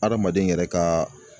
Adamaden yɛrɛ ka